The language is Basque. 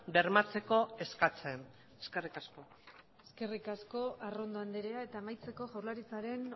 bermatzeko eskatzen eskerrik asko eskerrik asko arrondo andrea eta amaitzeko jaurlaritzaren